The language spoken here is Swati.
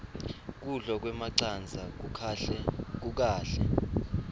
kudla kwemacandza kukahle